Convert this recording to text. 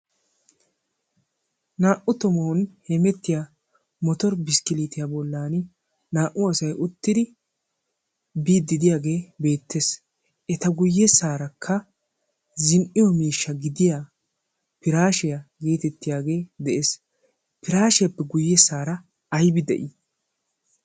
naa77u tomon hemettiya motor biskkilietiyaa bollan naa"u asai uttidi biiddidiyaagee beettees. eta guyyessaarakka zin"iyo miishsha gidiya piraashiyaa geetettiyaagee de'ees. piraashiyaappe guyyessaara aibi de'ii?